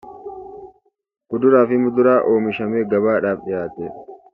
...kuduraa fi muduraa oomishamee gabaadhaaf dhiyaatee dha.